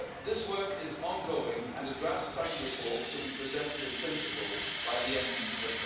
today. This work is ongoing and a draft study report should be presented in principle by the